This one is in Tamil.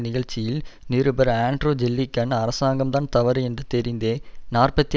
நிகழ்ச்சியில் நிருபர் ஆண்ட்ரூ ஜில்லிகன் அரசாங்கம்தான் தவறு என்று தெரிந்தே நாற்பத்தி